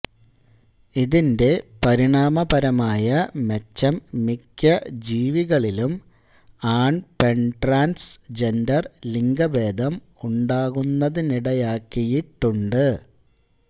ഇതിന്റെ പരിണാമപരമായ മെച്ചം മിക്ക ജീവികളിലും ആൺപെൺട്രാൻസ് ജെൻഡർ ലിംഗഭേദം ഉണ്ടാകുന്നതിനിടയാക്കിയിട്ടുണ്ട്